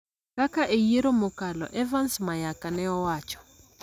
kaka e yiero mokalo, Evans Mayaka ne owacho.